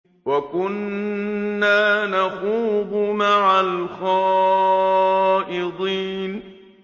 وَكُنَّا نَخُوضُ مَعَ الْخَائِضِينَ